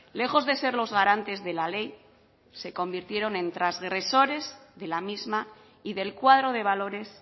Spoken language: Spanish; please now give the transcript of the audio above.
lejos de ser los garantes de la ley se convirtieron en transgresores de la misma y del cuadro de valores